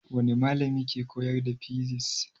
Wani malami ke koyar da fisis?